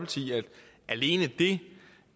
alene det